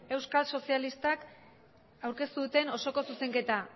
euskal sozialistak aurkeztu duten osoko zuzenketa